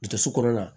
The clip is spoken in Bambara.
Kɛsu kɔnɔna na